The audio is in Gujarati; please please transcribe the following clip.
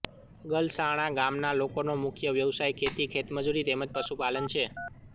ગલસાણા ગામના લોકોનો મુખ્ય વ્યવસાય ખેતી ખેતમજૂરી તેમ જ પશુપાલન છે